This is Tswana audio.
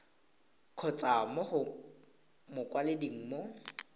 kgotsa mo go mokwaledi mo